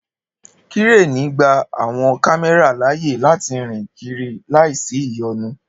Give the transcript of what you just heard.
Kírènì gba àwọn kámẹ́rà láàyè láti rìn kiri láìsí ìyọnu